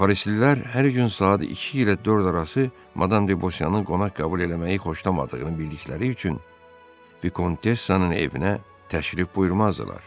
Parisilər hər gün saat iki ilə dörd arası Madam Debosyanı qonaq qəbul eləməyi xoşlamadığını bildikləri üçün Vikontessanın evinə təşrif buyurmazdılar.